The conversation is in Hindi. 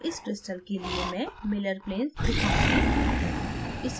अब इस crystal के लिए मैं miller planes दिखाऊँगी